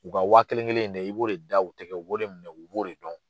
U ka waa kelen kelen in de, i b'o de da u tɛgɛ, u b'o de minɛ, u b'o de dɔn.